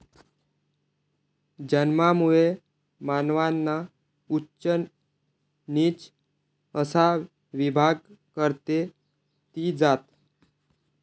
जन्मामुळे मानवांना उच्च नीच असा विभाग करते ती जात.